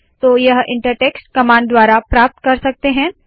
तो यह inter text command द्वारा प्राप्त कर सकते है